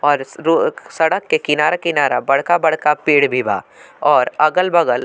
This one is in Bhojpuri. और स रो सड़क के किनारे-किनारे बड़का-बड़का पेड़ भी बा और अगल-बगल --